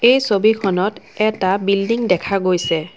এই ছবিখনত এটা বিল্ডিং দেখা গৈছে।